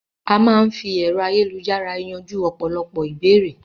A máa n fí ẹ̀rọ ayélujára yanjú ọ̀pọ̀lọpọ̀ ìbéèrè